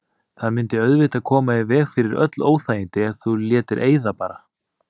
Það mundi auðvitað koma í veg fyrir öll óþægindi ef þú létir eyða bara.